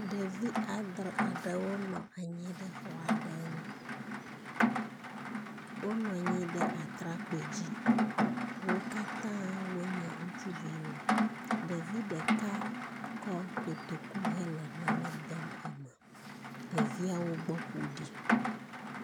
Ɖevi adre aɖewo nɔ anyi ɖe xɔ aɖe ŋu. Wonɔ anyi ɖe atrakpui dzi. Wo katã wonye ŋutsuviwo. Ɖevi ɖeka kɔ kotoku hele nane dem eme. Ɖeviawo gbɔ ƒo ɖi.